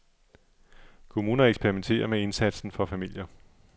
Kommuner eksperimenterer med indsatsen for familier.